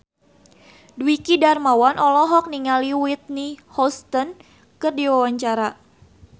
Dwiki Darmawan olohok ningali Whitney Houston keur diwawancara